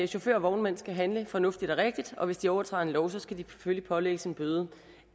chauffører og vognmænd skal handle fornuftigt og rigtigt og hvis de overtræder en lov skal de selvfølgelig pålægges en bøde